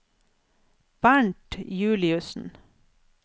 Bernt Juliussen